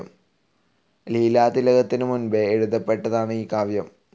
ലീലാതിലകത്തിനു മുൻപേ എഴുതപ്പെട്ടതാണ് ഈ കാവ്യം.